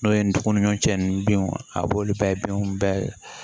N'o ye ndɔgɔninɲɔgɔncɛ ninnu binw a b'olu bɛɛ binw bɛɛ